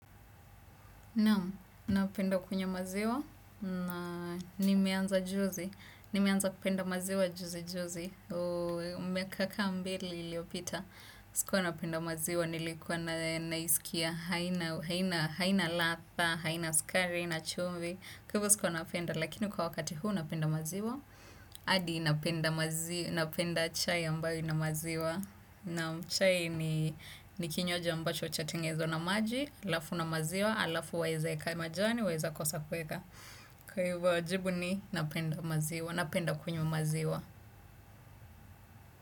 Naam, napenda kunywa maziwa, na nimeanza juzi, nimeanza kupenda maziwa juzi juzi, miaka kaa mbili iliopita, sikuwa napenda maziwa nilikuwa na naisikia haina ladha haina sukari haina chumvi kwa hivo sikua napenda lakini kwa wakati huu napenda maziwa hadi napenda chai ambayo ina maziwa. Naam, chai ni kinywaji ambacho chatengenezwa na maji alafu na maziwa alafu waeza eka majani waeza kosa kueka kwa ivo jibu ni napenda maziwa napenda kunywa maziwa.